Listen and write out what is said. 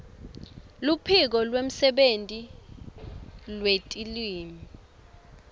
luphiko lwemsebenti wetilwimi